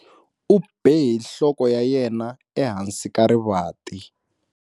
U be hi nhloko ya yena ehansi ka rivanti.